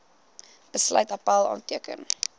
besluit appèl aanteken